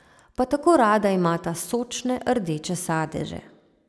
Pa tako rada imata sočne rdeče sadeže...